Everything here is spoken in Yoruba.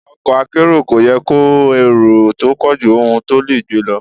Ọkọ̀ akérò kò yẹ kó èrò tó pọ̀jù ohun tó le gbé lọ.